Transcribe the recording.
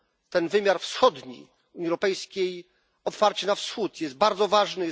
Ten wymiar wschodni Unii Europejskiej, otwarcie na Wschód, jest bardzo ważny.